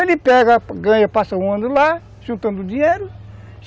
Ele pega, ganha, passa um ano lá, juntando dinheiro.